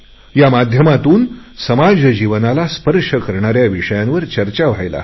या माध्यमातून समाज जीवनाला स्पर्श करणाऱ्या विषयांवर चर्चा व्हायला हवी